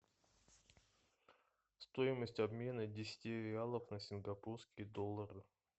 стоимость обмена десяти реалов на сингапурские доллары